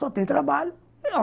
Só tem trabalho.